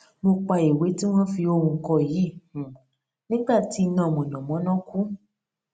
mo pa ìwé tí wón fi ohùn kọ yìí um nígbà tí iná mànàmáná kú